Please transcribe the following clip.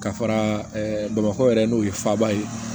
Ka fara bamakɔ yɛrɛ n'o ye faba ye